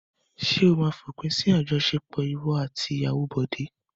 Ṣé ó máa fi òpin sí àjọṣepọ̀ ìwọ àti ìyàwó Bọ̀dé?